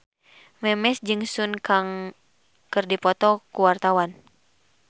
Memes jeung Sun Kang keur dipoto ku wartawan